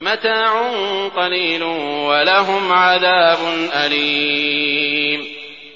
مَتَاعٌ قَلِيلٌ وَلَهُمْ عَذَابٌ أَلِيمٌ